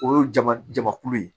O ye jama jamakulu ye